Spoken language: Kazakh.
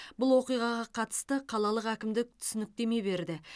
бұл оқиғаға қатысты қалалық әкімдік түсініктеме берді